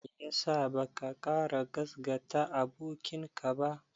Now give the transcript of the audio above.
Me ya sa baka ƙara gasgata abokinka ba?